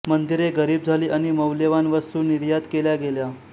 मंदिरे गरिब झाली आणि मौल्यवान वस्तू निर्यात केल्या गेल्या